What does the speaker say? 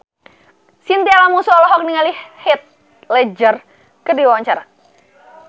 Chintya Lamusu olohok ningali Heath Ledger keur diwawancara